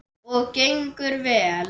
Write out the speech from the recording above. Og gengur vel.